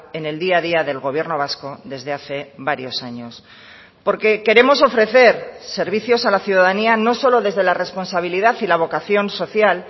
en el día a día del gobierno vasco desde hace varios años porque queremos ofrecer servicios a la ciudadanía no solo desde la responsabilidad y la vocación social